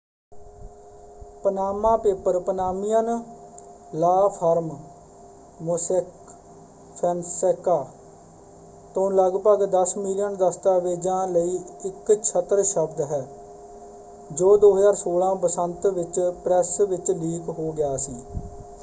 "Panama paper Panamanian law firm Mossack Fonseca ਤੋਂ ਲਗਭਗ ਦਸ ਮਿਲੀਅਨ ਦਸਤਾਵੇਜ਼ਾਂ ਲਈ ਇੱਕ ਛਤਰ ਸ਼ਬਦ ਹੈ ਜੋ 2016 ਬਸੰਤ ਵਿੱਚ ਪ੍ਰੈੱਸ ਵਿੱਚ ਲੀਕ ਹੋ ਗਿਆ ਸੀ।